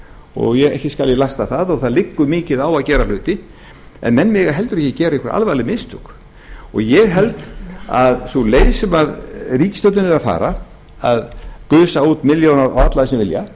og ekki skal ég lasta það og það liggur mikið á að gera hluti en menn mega heldur ekki gera einhver alvarleg mistök og ég held að sú leið sem ríkisstjórnin er að fara að gusa út milljónum á alla sem vilja